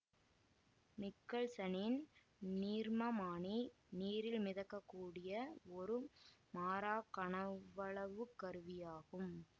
நிக்கல்சனின் நீர்மமானி நீரில் மிதக்கக்கூடிய ஒரு மாறாக் கனவளவுக் கருவியாகும்